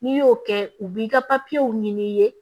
N'i y'o kɛ u b'i ka ɲini